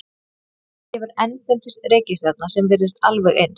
Ekki hefur enn fundist reikistjarna sem virðist alveg eins.